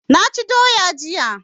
Naci doya jiya